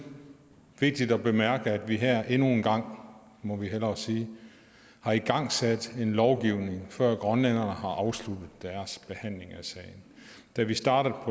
vigtigt at bemærke at vi her endnu engang må vi hellere sige har igangsat en lovgivning før grønlænderne har afsluttet deres behandling af sagen da vi startede